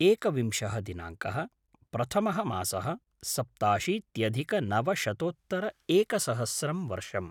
एकविंशः दिनाङ्कः - प्रथमः मासः - सप्ताशीत्यधिकनवशतोत्तर एकसहस्रं वर्षम्